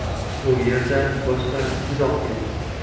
Bu yerda boshqa izoh yo‘q.